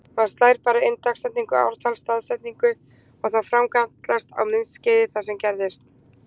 Maður bara slær inn dagsetningu- ártal-staðsetningu og þá framkallast á myndskeiði það sem gerðist.